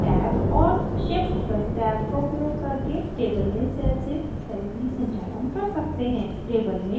tab और shift + tab का उपयोग करके table में cell से cell भी संचालन कर सकते हैं